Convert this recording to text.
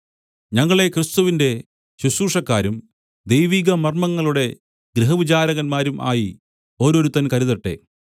ഞങ്ങളെ ക്രിസ്തുവിന്റെ ശുശ്രൂഷക്കാരും ദൈവികമർമ്മങ്ങളുടെ ഗൃഹവിചാരകന്മാരും ആയി ഓരോരുത്തൻ കരുതട്ടെ